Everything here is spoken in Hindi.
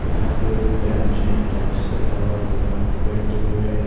यहाँ पे बैंच है डैकस और यहाँ पैंटिंग जो है --